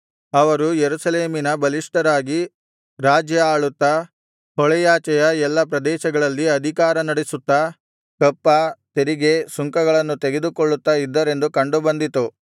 ಅವರು ಯೆರೂಸಲೇಮಿನಲ್ಲಿ ಬಲಿಷ್ಠರಾಗಿ ರಾಜ್ಯ ಆಳುತ್ತಾ ಹೊಳೆಯಾಚೆಯ ಎಲ್ಲಾ ಪ್ರದೇಶಗಳಲ್ಲಿ ಅಧಿಕಾರನಡಿಸುತ್ತಾ ಕಪ್ಪ ತೆರಿಗೆ ಸುಂಕಗಳನ್ನು ತೆಗೆದುಕೊಳ್ಳುತ್ತಾ ಇದ್ದರೆಂದು ಕಂಡುಬಂದಿತು